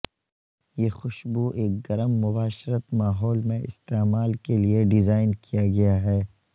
یہ خوشبو ایک گرم مباشرت ماحول میں استعمال کے لئے ڈیزائن کیا گیا ہے